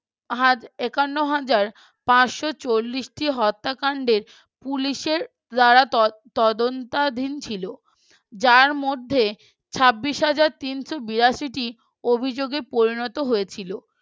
একান্ন হাজার পাঁচশ চল্লিশ টি হত্যাকাণ্ডের পুলিশের যারা তদ তদন্তাধীন ছিল যার মধ্যে ছাব্বিশ হাজার তিনশ বিরাশি টি অভিযোগে পরিণত হয়েছিল